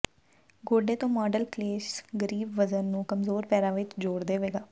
ਗੋਡੇ ਤੋਂ ਮਾਡਲ ਕਲੇਸ਼ ਗਰੀਬ ਵਜ਼ਨ ਨੂੰ ਕਮਜ਼ੋਰ ਪੈਰਾਂ ਵਿਚ ਜੋੜ ਦੇਵੇਗਾ